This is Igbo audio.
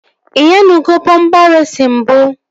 Ị nyanugo bọmpa reesi mbụ?